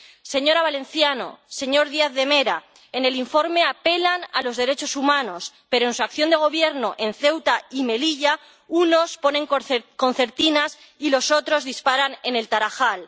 Señora Valenciano, señor Díaz de Mera, en el informe apelan a los derechos humanos, pero en su acción de gobierno en Ceuta y Melilla, unos ponen concertinas y los otros disparan en El Tarajal.